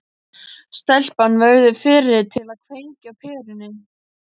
Stelpan verður fyrri til að kveikja á perunni.